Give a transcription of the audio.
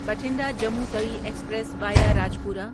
Bathinda Jammu Tawi express via Rajpura